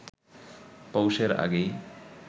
পৌষের আগেই